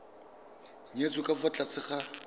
nyetswe ka fa tlase ga